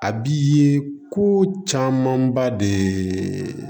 A bi ye ko camanba de